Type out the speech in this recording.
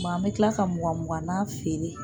Mɛ an bɛ kila ka mugan muganna feere